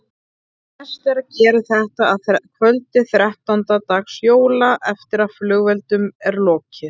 Best er að gera þetta að kvöldi þrettánda dags jóla eftir að flugeldum er lokið.